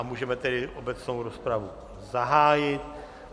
A můžeme tedy obecnou rozpravu zahájit.